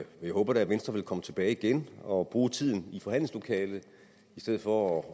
jeg håber da venstre vil komme tilbage igen og bruge tiden i forhandlingslokalet i stedet for at